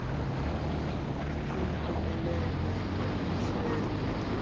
aliphumeleli ukungqinelana nommiselo